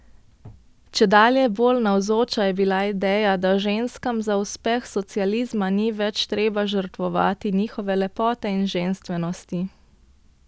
Čedalje bolj navzoča je bila ideja, da ženskam za uspeh socializma ni več treba žrtvovati njihove lepote in ženstvenosti.